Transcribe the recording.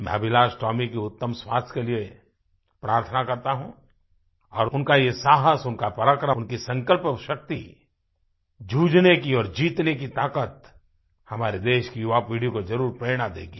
मैं अभिलाष टोमी के उत्तम स्वास्थ्य के लिए प्रार्थना करता हूँ और उनका ये साहस उनका पराक्रम उनकी संकल्प शक्ति जूझने की और जीतने की ताक़त हमारे देश की युवापीढ़ी को ज़रूर प्रेरणा देगी